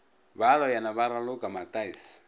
ba loyana ba raloka mataese